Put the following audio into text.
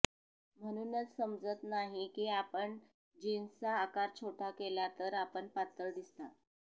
म्हणूनच समजतं नाही की आपण जीन्सचा आकार छोटा केला तर आपण पातळ दिसता